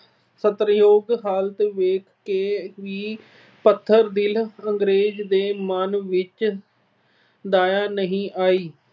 ਤਰਸਯੋਗ ਹਾਲਤ ਦੇਖ ਕੇ ਵੀ ਪੱਥਰ ਦਿਲ ਅੰਗਰੇਜ਼ਾਂ ਦੇ ਮਨ ਵਿੱਚ ਦਇਆ ਨਹੀਂ ਆਈ।